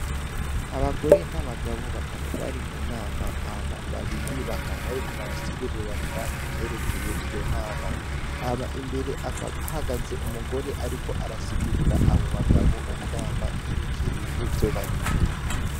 Abagore n'abagabo bakaba bari mu nama jama babiri bakaba bariko barasiguriranira ivyerekeye iyo nama hama imbere ahagaze umugore, ariko arasigurira abo bagabo inama yerekeye ni vyo barimwo.